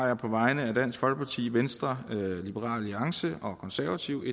jeg på vegne af dansk folkeparti venstre liberal alliance og konservative